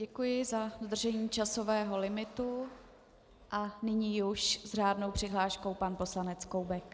Děkuji za dodržení časového limitu a nyní už s řádnou přihláškou pan poslanec Koubek.